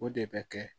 O de bɛ kɛ